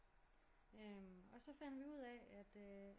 Og så fandt vi ud af at øh